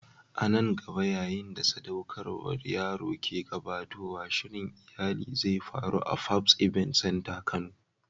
A nan gaba, yayin da sadaukarwar yaro ke gabatowa, shirin iyali zai faru a Fabs Event center a kano.